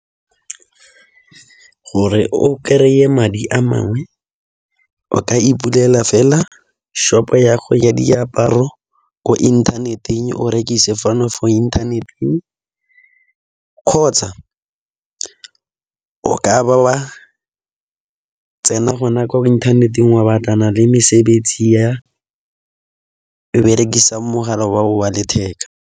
Gore o kry-e madi a mangwe o ka i pulela fela shop-o ya go ya diaparo ko inthaneteng, o rekise fano fo inthaneteng, kgotsa o ka ba wa tsena gona kwa inthaneteng wa batlana le mesebetsi e berekisang mogala wa go wa letheka.